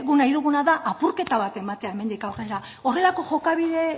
nahi duguna da apurketa bat ematea hemendik aurrera horrelako jokabide